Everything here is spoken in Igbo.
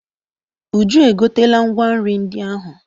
Uju e gotela ngwa nri ndị ahụ.